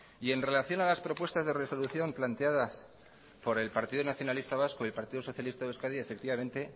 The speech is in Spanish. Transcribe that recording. y en relación a las propuestas de resolución planteadas por el partido nacionalista vasco y partido socialista de euskadi efectivamente